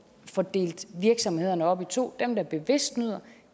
få delt virksomhederne op i to dem der bevidst snyder